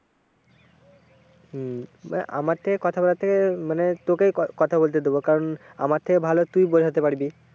হম আমার থেকে কথা বলার থেকে মানে তোকেই কথা বলতে দেবো কারণ আমার থেকে ভালো তুইই বোঝাতে পারবি।